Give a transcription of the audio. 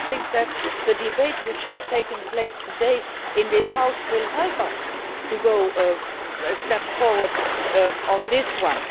I think that the debate which has taken place today in this House will help us to move forward on this one.